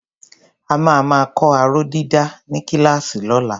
A máa máa kọ́ aróh dídà ní kíláàsì lọ́la.